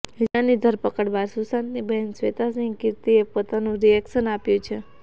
રિયાની ધરપકડ બાદ સુશાંતની બહેન શ્વેતા સિંહ કીર્તિએ પોતાનું રિએક્શન આપ્યું છે